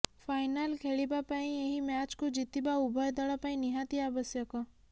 final ଖେଳିବା ପାଇଁ ଏହି ମ୍ୟାଚକୁ ଜିତିବା ଉଭୟ ଦଳ ପାଇଁ ନିହାତି ଆବଶ୍ୟକ